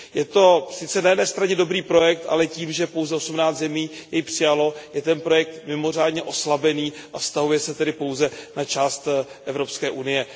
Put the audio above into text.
Je to sice na jedné straně dobrý projekt, ale tím, že pouze osmnáct zemí jej přijalo, je ten projekt mimořádně oslabený, a vztahuje se tedy pouze na část Evropské unie.